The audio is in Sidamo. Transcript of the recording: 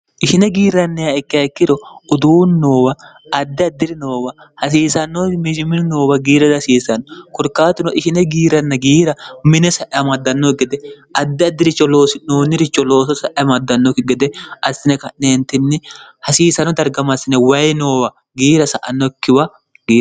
ishine giirrannihaa ikke hekkiro uduuni noowa addi addi'ri noowa hasiisannowi mejimili noowa giiradi hasiisanno korkaatuno ishine giiranna giira mine sa'eamaddannoki gede addi addi'richo oinoonniricho looso sa'eamaddannokki gede assine ka'neentinni hasiisano dargamassine wayi noowa giira sa annokkiwa